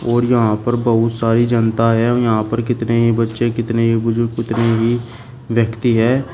और यहां पर बहुत सारी जनता है और यहां पर कितने ही बच्चे कितने ही बुजुर्ग कितने ही व्यक्ति है।